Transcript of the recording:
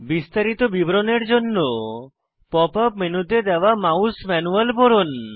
বিস্তারিত বিবরণের জন্য পপ আপ মেনুতে দেওয়া মাউস ম্যানুয়াল পড়ুন